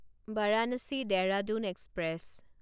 Varanasi Dehradun express